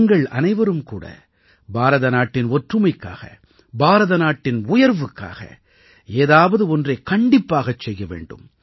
நீங்கள் அனைவரும் கூட பாரத நாட்டின் ஒற்றுமைக்காக பாரத நாட்டின் உயர்வுக்காக ஏதாவது ஒன்றைக் கண்டிப்பாகச் செய்ய வேண்டும்